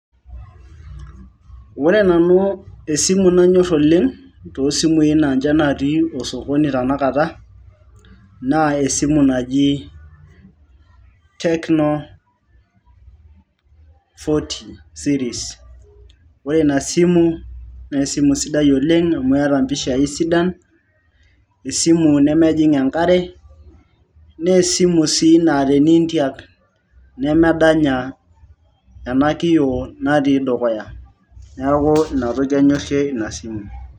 Ore nanu esimu nanyor oleng' tosumui na ninche natii osokoni tanakata, naa esimu naji Techno fourty Series. Ore ina simu, na esimu sidai oleng' amu eeta mpishai sidan, esimu nemejing' enkare, ne esimu si na teniintiak, nemedanya ena kio natii dukuya. Neeku inatoki anyorrie inasimu.